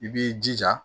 I b'i jija